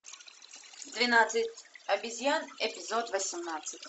двенадцать обезьян эпизод восемнадцать